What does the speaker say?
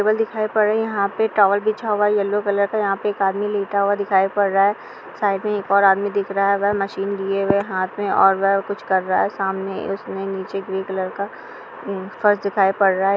यहां पर टॉवल दिखाई पड़ा हुआ दिख रहा है एक आदमी लेटा हुआ दिखाई पड़ रहा है साइक में एक और आदमी दिखाई पर रहा है और वहाँ हाथ में मशीन लिए हुए हाथ में और वहाँ कुछ सामने उसमे नीचे ग्रे कलर का फर्श दिखाई पड़ रहा है।